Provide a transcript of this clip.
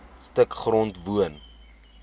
stuk grond woon